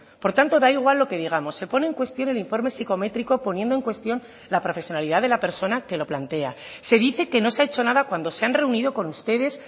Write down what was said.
por tanto da igual lo que digamos se pone en cuestión el informe psicométrico poniendo en cuestión la profesionalidad de la persona que lo plantea se dice que no se ha hecho nada cuando se han reunido con ustedes